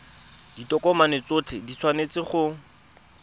ditokomane tsotlhe di tshwanetse go